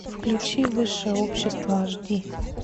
включи высшее общество аш ди